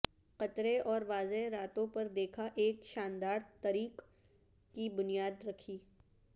قطرے اور واضح راتوں پر دیکھا ایک شاندار ٹریک کی بنیاد رکھی